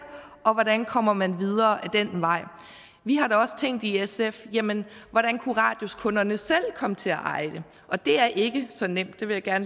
og hvordan kommer man videre ad den vej vi har da også tænkt i sf jamen hvordan kunne radiuskunderne selv komme til at eje det og det er ikke så nemt det vil jeg